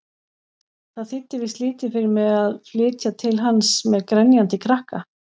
Það þýddi víst lítið fyrir mig að flytja til hans-með grenjandi krakka!